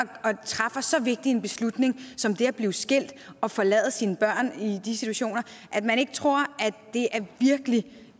træffer så vigtig en beslutning som det at blive skilt og forlade sine børn at man ikke tror